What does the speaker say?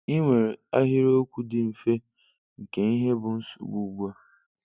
I nwere ahịrịokwu dị mfe nke ihe bụ nsogbu ugbua.